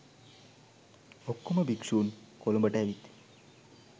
ඔක්කෝම භික්ෂූන් කොළඹට ඇවිත්